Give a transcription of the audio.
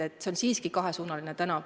See on siiski kahesuunaline tänav.